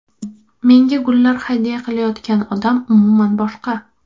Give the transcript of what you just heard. Menga gullar hadya qilayotgan odam umuman boshqa.